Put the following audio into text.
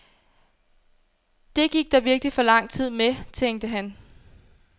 Det gik der virkelig for lang tid med, tænkte han.